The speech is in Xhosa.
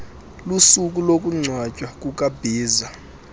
lusuku lokungcwatywa kukabhiza